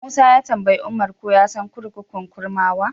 Musa ya tambayi Umar ko ya san kurkukun Kurmawa.